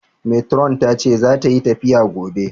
Metiron tace zata yi tafiya gobe